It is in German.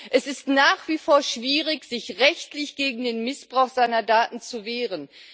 Es ist nach wie vor schwierig, sich rechtlich gegen den Missbrauch seiner Daten zu wehren.